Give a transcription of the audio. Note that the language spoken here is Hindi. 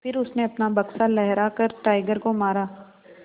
फिर उसने अपना बक्सा लहरा कर टाइगर को मारा